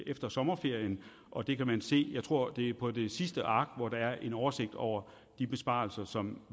efter sommerferien og det kan man se jeg tror det er på det sidste ark hvor der er en oversigt over de besparelser som